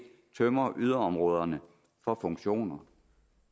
tømmer yderområderne for funktioner